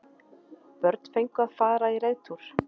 Börn fengu að fara í reiðtúr